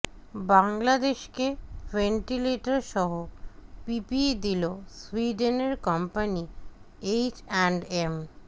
বাংলাদেশকে ভেন্টিলেটরসহ পিপিই দিলো সুইডেনের কোম্পানি এইচ অ্যান্ড এম